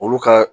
Olu ka